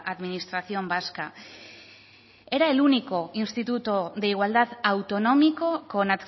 administración vasca era el único instituto de igualdad autonómico con